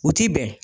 U ti bɛn